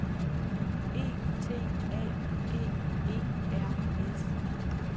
E T A G E R S